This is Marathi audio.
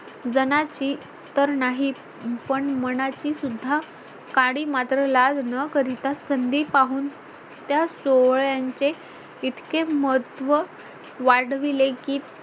जनाची तर नाही पण मनाची सुद्धा काडी मात्र लाज न करितां संधी पाहून त्या सोवळ्यांचे इतके महत्त्व वाढविले कि